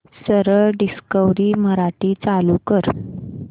सरळ डिस्कवरी मराठी चालू कर